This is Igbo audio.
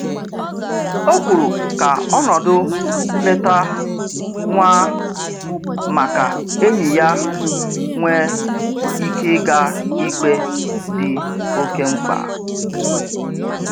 O kwuru ka ọ nọdụ leta nwa ma ka enyi ya nwee ike ịga ikpe dị oke mkpa